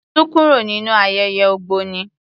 Sún kúrò nínú ayẹyẹ ògbóni.